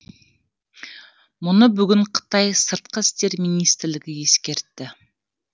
мұны бүгін қытай сыртқы істер министрлігі ескертті